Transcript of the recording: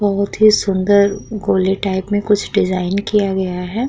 बहोत ही सूंदर गोले टाइप में कुछ डिज़ाइन किया गया है।